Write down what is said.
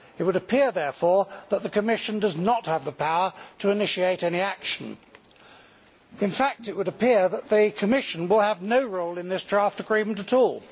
It would appear therefore that the Commission does not have the power to initiate any action. In fact, it would appear that the Commission will have no role in this draft agreement at all.